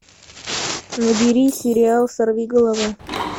набери сериал сорви голова